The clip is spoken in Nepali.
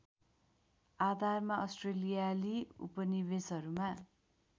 आधारमा अस्ट्रेलियाली उपनिवेसहरूमा